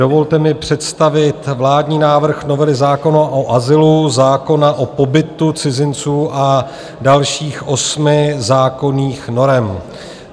Dovolte mi představit vládní návrh novely zákona o azylu, zákona o pobytu cizinců a dalších osmi zákonných norem.